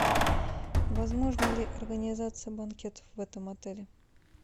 возможна ли организация банкетов в этом отеле